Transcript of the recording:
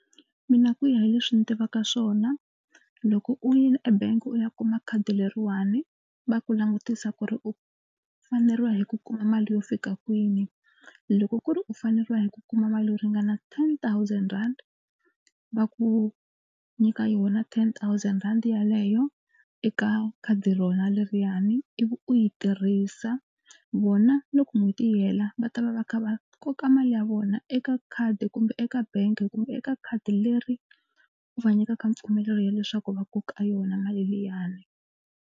Mina ku ya hi leswi ni tivaka swona loko u yini ebank u ya kuma khadi leriwani va ku langutisa ku ri u faneriwa hi ku kuma mali yo fika kwini. Loko ku ri u faneriwa hi ku kuma mali yo ringana ten thousand rand va ku nyika yona ten thousand rand yaleyo eka khadi rona leriyani ivi u yi tirhisa vona loko n'hweti yi hela va ta va va kha va koka mali ya vona eka khadi kumbe eka bangi kumbe eka khadi leri u va nyikaka mpfumelelo ya leswaku va koka yona mali liyani.